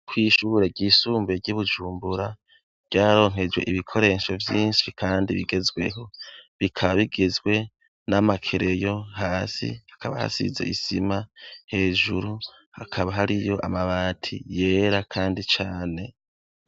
Kw'Ishure ryisumbuye ry'Ibujumbura ryaronkejwe ibikoresho yinshi kandi bigezweho, bikaba bigizwe n'amakereyo ,hasi hakaba hasize isima hejuru hakaba hariyo amabati yera kandi cane.